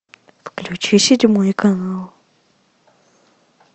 включи седьмой канал